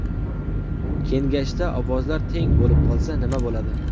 Kengashda ovozlar teng bo‘lib qolsa nma bo‘ladi?